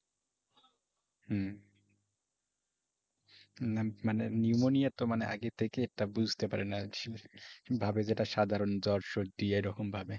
হুঁ। না মানে pneumonia তো এটা মানে আগের থেকে এটা বুঝতে পারে না। ভাবে যে এটা সাধারণ জ্বর সর্দি এরকম ভাবে।